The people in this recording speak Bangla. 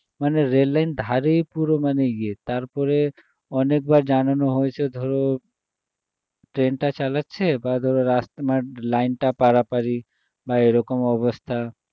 মানে রেললাইন ধারেই পুরো মানে ইয়ে তারপরে অনেকবার জানানো হয়েছে ধরো train টা চালাচ্ছে বা ধরো রাস~ মানে line টা পারাপার-ই বা এরকম অবস্থা